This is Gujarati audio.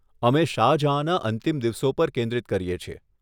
અમે શાહ જહાંના અંતિમ દિવસો પર કેન્દ્રિત કરીએ છીએ.